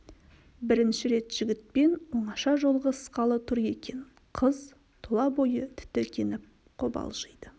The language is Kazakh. бірінші рет жігітпен оңаша жолығысқалы тұр екен қыз тұла бойы тітіркеніп қобалжиды